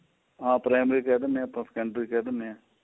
ਹਾਂ primary ਕਹਿ ਦਿੰਨੇ ਹਾਂ secondary ਕਹਿ ਦਿੰਨੇ ਹਾਂ